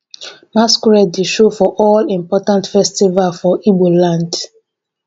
masqurade dey show for all important festival for ibo land.